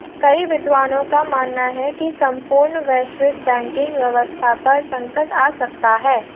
कई विद्वानों का मानना है कि संपूर्ण वैश्विक बैंकिंग व्यवस्था पर संकट आ सकता है